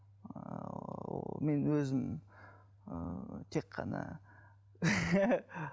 ыыы мен өзім ыыы тек қана